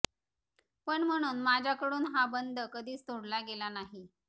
पण म्हणून माझ्याकडून हा बंध कधीच तोडला गेला नाही